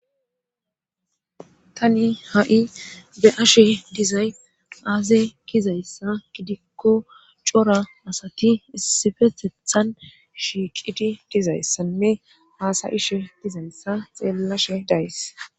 tani ha7i be ashe dizay aaze gizayssa gidikko cora asati issifetethan shiiqidi dizayssanne haasa ishe gizayssa xeellashe days